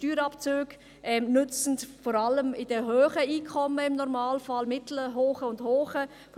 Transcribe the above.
Steuerabzüge nützen im Normalfall vor allem den mittelhohen und hohen Einkommen.